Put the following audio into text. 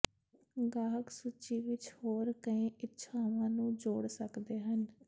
ਗਾਹਕ ਸੂਚੀ ਵਿੱਚ ਹੋਰ ਕਈ ਇੱਛਾਵਾਂ ਨੂੰ ਜੋੜ ਸਕਦੇ ਹਨ